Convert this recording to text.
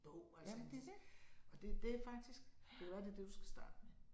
Bog altså en og det det faktisk det kan være det det du skal starte med